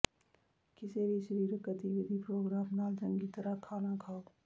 ਕਿਸੇ ਵੀ ਸਰੀਰਕ ਗਤੀਵਿਧੀ ਪ੍ਰੋਗਰਾਮ ਨਾਲ ਚੰਗੀ ਤਰ੍ਹਾਂ ਖਾਣਾ ਖਾਓ